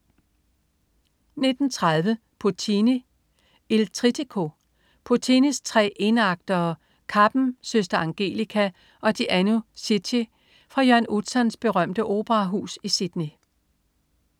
19.30 Puccini: Il Trittico. Puccinis tre en-aktere Kappen, Søster Angelica og Gianni Schicchi fra Jørgen Utzons berømte operahus i Sydney